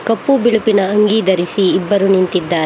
ಕಪ್ಪು ಬಿಳುಪಿನ ಅಂಗಿ ಧರಿಸಿ ಇಬ್ಬರು ನಿಂತಿದ್ದಾ--